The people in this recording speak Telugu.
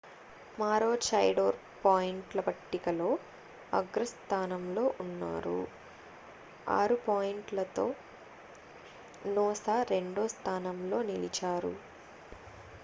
maroochydore పాయింట్ల పట్టికలో అగ్రస్థానంలో ఉన్నారు 6 పాయింట్లతో noosa రెండో స్థానంలో నిలిచారు